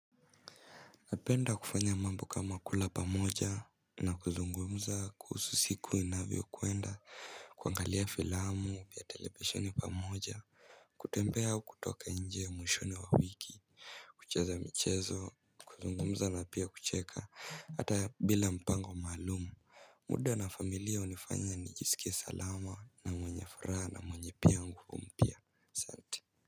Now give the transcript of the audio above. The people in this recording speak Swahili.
Napenda kufanya mambo kama kula pamoja na kuzungumza kuhusu siku inavyo kuenda kwangalia filamu pia televisheni pamoja. Kutembea au kutoka nje ya mwishoni wa wiki. Kucheza michezo kuzungumza na pia kucheka hata bila mpango maalumu. Muda na familia unifanya nijisikie salama na mwenye faraha na mwenye piangu umpia so.